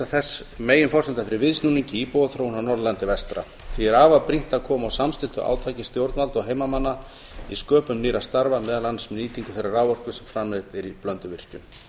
ein meginforsenda fyrir viðsnúningi í íbúaþróun á norðurlandi vestra því er afar brýnt að koma á samstilltu átaki stjórnvalda og heimamanna í sköpun nýrra starfa meðal annars með nýtingu þeirrar raforku sem framleidd er í blönduvirkjun